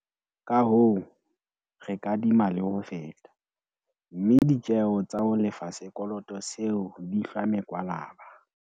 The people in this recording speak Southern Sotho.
Kahoo, re kadima le ho feta, mme ditjeo tsa ho lefa sekoloto seo di hlwa mekwalaba.